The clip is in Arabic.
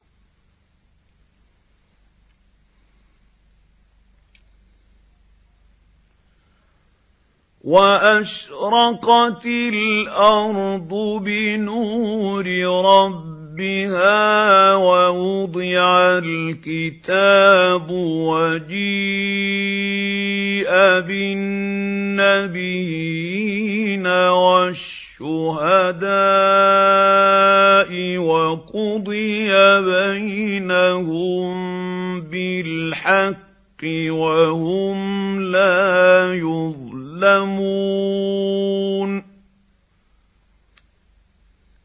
وَأَشْرَقَتِ الْأَرْضُ بِنُورِ رَبِّهَا وَوُضِعَ الْكِتَابُ وَجِيءَ بِالنَّبِيِّينَ وَالشُّهَدَاءِ وَقُضِيَ بَيْنَهُم بِالْحَقِّ وَهُمْ لَا يُظْلَمُونَ